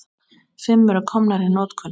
Fimm eru komnar í notkun.